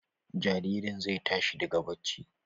Jaririn zai tashi daga bacci.